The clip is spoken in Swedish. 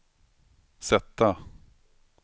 sätta